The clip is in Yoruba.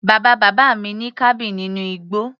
Bàbá bàbá mi ní cabin nínú igbó.